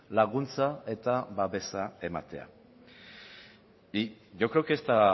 laguntza eta babesa ematea y yo creo que esta